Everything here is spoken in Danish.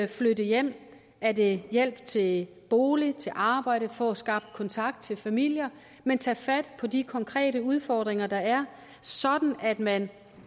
flytte hjem er det hjælp til bolig til arbejde at få skabt kontakt til familier man tage fat på de konkrete udfordringer der er sådan at man